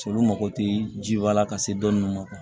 Se olu mago tɛ ji wa la ka se dɔɔni ma